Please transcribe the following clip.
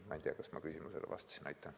Ma ei tea, kas ma vastasin küsimusele.